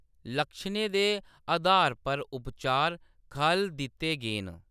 लक्षणें दे अधार पर उपचार खʼल्ल दित्ते गे न।